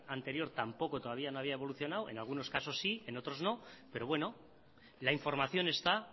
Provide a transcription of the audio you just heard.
anterior tampoco todavía no había evolucionado en algunos casos sí en otros no pero bueno la información está